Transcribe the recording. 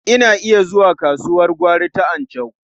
Ina iya zuwa kasuwar gwari ta Anchau.